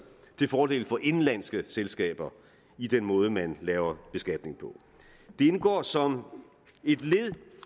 til fordel for indenlandske selskaber i den måde man laver beskatning på det indgår som et led